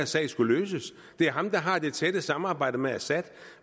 sag skal løses det er ham der har det tætte samarbejde med assad